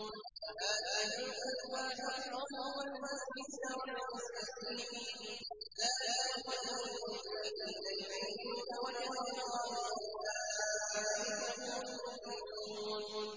فَآتِ ذَا الْقُرْبَىٰ حَقَّهُ وَالْمِسْكِينَ وَابْنَ السَّبِيلِ ۚ ذَٰلِكَ خَيْرٌ لِّلَّذِينَ يُرِيدُونَ وَجْهَ اللَّهِ ۖ وَأُولَٰئِكَ هُمُ الْمُفْلِحُونَ